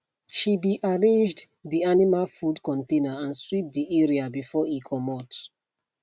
she be arranged de animal food container and sweep de area before e comot